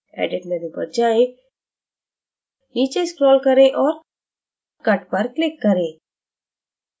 edit menu पर जाएं नीचे scroll करें और cut पर click करें